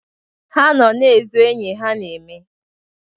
Ha nọ na ezọ enyi ha na-eme.